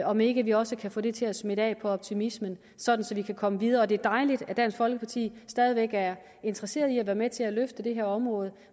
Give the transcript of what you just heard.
om ikke vi også kan få det til at smitte af på optimismen så vi kan komme videre det er dejligt at dansk folkeparti stadig væk er interesseret i at være med til at løfte det her område